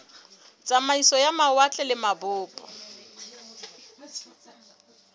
tsamaiso ya mawatle le mabopo